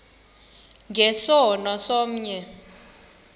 nge sono somnye